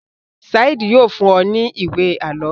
Saheed yóò fún o ní ìwé àlọ.